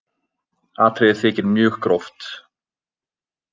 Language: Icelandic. Atriðið þykir mjög gróft